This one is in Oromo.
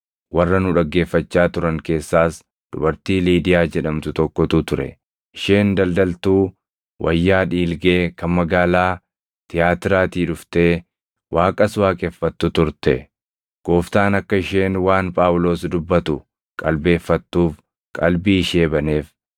Warra nu dhaggeeffachaa turan keessaas dubartii Liidiyaa jedhamtu tokkotu ture; isheen daldaltuu wayyaa dhiilgee kan magaalaa Tiyaatiraatii dhuftee, Waaqas waaqeffattu turte. Gooftaan akka isheen waan Phaawulos dubbatu qalbeeffattuuf qalbii ishee baneef.